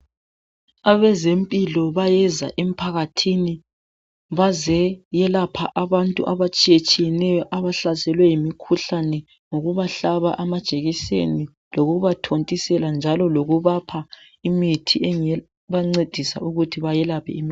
Abezempilo bayeza emphakathini bazeyelapha abantu abatshiyetshiyeneyo abahlaselwe yimikhuhlane ngokubahlaba amajekiseni lokubathontisela njalo lokubapha imithi ebancedisa ukuthi bayelaphe imikhuhlane.